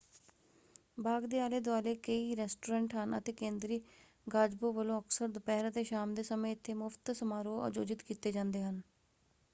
ਬਾਗ ਦੇ ਆਲੇ-ਦੁਆਲੇ ਕਈ ਰੈਸਟੋਰੈਂਟ ਹਨ ਅਤੇ ਕੇਂਦਰੀ ਗਾਜ਼ਬੋ ਵੱਲੋਂ ਅਕਸਰ ਦੁਪਹਿਰ ਅਤੇ ਸ਼ਾਮ ਦੇ ਸਮੇਂ ਇੱਥੇ ਮੁਫਤ ਸਮਾਰੋਹ ਆਯੋਜਿਤ ਕੀਤੇ ਜਾਂਦੇ ਹਨ।